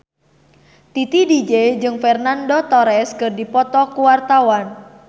Titi DJ jeung Fernando Torres keur dipoto ku wartawan